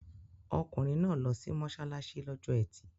Ọkùnrin náà lọ sí mọ́ṣáláṣí lọ́jọ́ Ẹtì.